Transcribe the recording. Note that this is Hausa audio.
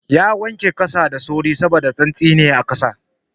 Ya wanke kansa da sauri saboda saisaye ne a kansa